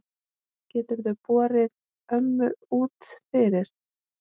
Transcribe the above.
Geturðu borið ömmu út fyrir?